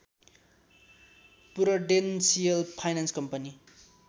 Prudential finance company